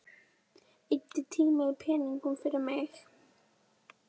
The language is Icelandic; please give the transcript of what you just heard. Eyddi tíma og peningum fyrir mig.